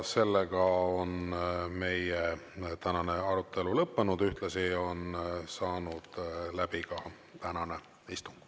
Sellega on meie tänane arutelu lõppenud ja ühtlasi on saanud läbi ka tänane istung.